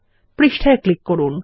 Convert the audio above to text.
পৃষ্ঠায় ক্লিক করুন